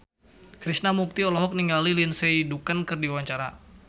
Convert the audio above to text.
Krishna Mukti olohok ningali Lindsay Ducan keur diwawancara